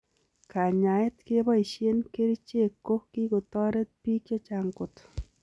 Kanyaet kebaishee kerichek ko kikotoret piik chechang kot.